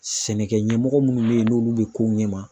Sɛnɛkɛ ɲɛmɔgɔ minnu bɛ yen n'olu bɛ kow ɲɛma